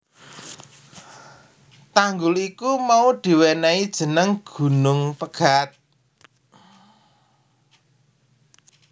Tanggul iku mau diwenehi jeneng Gunung Pegat